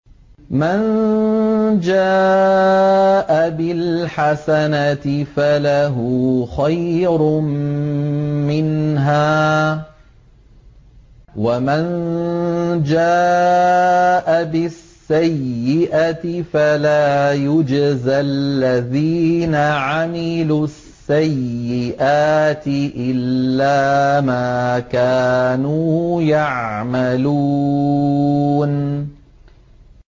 مَن جَاءَ بِالْحَسَنَةِ فَلَهُ خَيْرٌ مِّنْهَا ۖ وَمَن جَاءَ بِالسَّيِّئَةِ فَلَا يُجْزَى الَّذِينَ عَمِلُوا السَّيِّئَاتِ إِلَّا مَا كَانُوا يَعْمَلُونَ